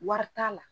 Wari t'a la